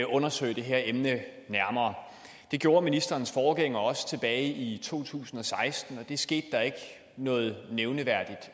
undersøge det her emne nærmere det gjorde ministerens forgænger også tilbage i to tusind og seksten og det skete der ikke noget nævneværdigt